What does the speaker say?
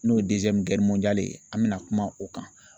N'o ye ye an bɛna kuma o kan